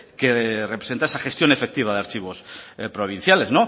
que representa esa gestión efectiva de archivos provinciales